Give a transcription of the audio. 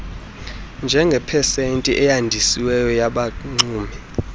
njengepesenti eyandisiweyo yabaxumi